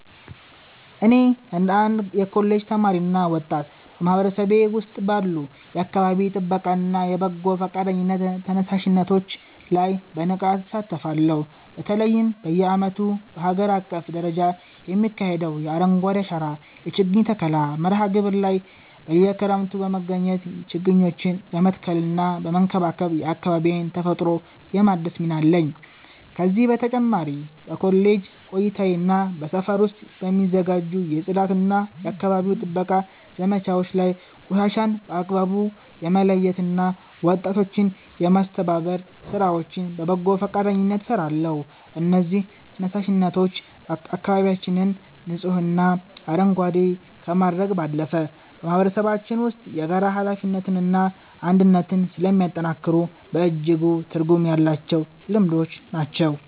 እኔ እንደ አንድ የኮሌጅ ተማሪና ወጣት፣ በማህበረሰቤ ውስጥ ባሉ የአካባቢ ጥበቃና የበጎ ፈቃደኝነት ተነሳሽነቶች ላይ በንቃት እሳተፋለሁ። በተለይም በየዓመቱ በአገር አቀፍ ደረጃ በሚካሄደው የ“አረንጓዴ አሻራ” የችግኝ ተከላ መርሃ ግብር ላይ በየክረምቱ በመገኘት ችግኞችን በመትከልና በመንከባከብ የአካባቢዬን ተፈጥሮ የማደስ ሚና አለኝ። ከዚህ በተጨማሪ በኮሌጅ ቆይታዬና በሰፈር ውስጥ በሚዘጋጁ የጽዳትና የአካባቢ ጥበቃ ዘመቻዎች ላይ ቆሻሻን በአግባቡ የመለየትና ወጣቶችን የማስተባበር ሥራዎችን በበጎ ፈቃደኝነት እሰራለሁ። እነዚህ ተነሳሽነቶች አካባቢያችንን ንጹህና አረንጓዴ ከማድረግ ባለፈ፣ በማህበረሰባችን ውስጥ የጋራ ኃላፊነትንና አንድነትን ስለሚያጠናክሩ በእጅጉ ትርጉም ያላቸው ልምዶች ናቸው።